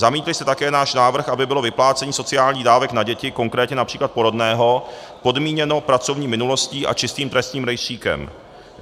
Zamítli jste také náš návrh, aby bylo vyplácení sociálních dávek na děti, konkrétně například porodného, podmíněno pracovní minulostí a čistým trestním rejstříkem.